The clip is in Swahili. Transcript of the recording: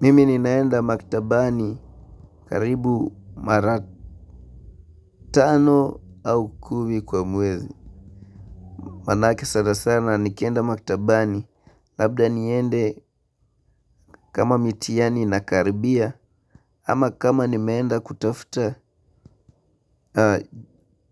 Mimi ninaenda maktabani karibu mara tano au kumi kwa mwezi. Maanake sana sana nikienda maktabani labda niende kama mitiani inakaribia ama kama nimeenda kutafuta